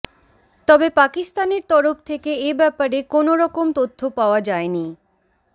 তবে পাকিস্তানের তরফ থেকে এ ব্যাপারে কোনওরকম তথ্য পাওয়া যায়নি